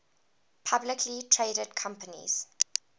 publicly traded companies